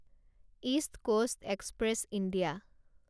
east Coast Express India